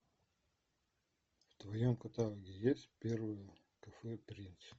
в твоем каталоге есть первое кафе принц